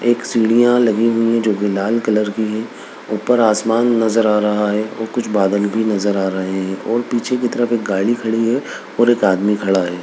एक सीढ़ियाँ लगी हुई हैं जो की लाल कलर की है ऊपर आसमान नजर आ रहा है और कुछ बादल भी नजर आ रहे हैं और पीछे की तरफ गाड़ी खड़ी है और एक आदमी खड़ा है।